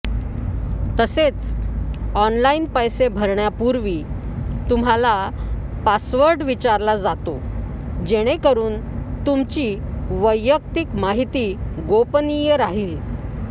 तसेच ऑनलाइन पैसे भरण्यापूर्वी तुम्हाला पासवर्ड विचारला जातो जेणेकरून तुमची वैयक्तिक माहिती गोपनीय राहील